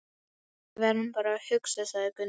Við verðum bara að hugsa, sagði Gunni.